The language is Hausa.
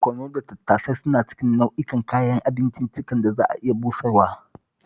Barkono da tattasai suna cikin nau'in kayan abinciccikan da za a iya busarwa